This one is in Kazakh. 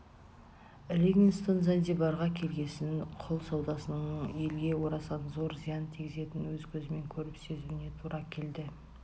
ливингстон занзибарға келгесін құл саудасының елге орасан зор зиян тигізетінін өз көзімен көріп сенуіне тура келді